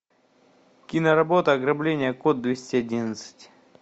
киноработа ограбление код двести одиннадцать